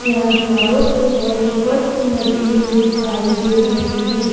यहां दीवारों पे वॉलपेपर्स भी लगे हुए दिखाई दे रहे हैं।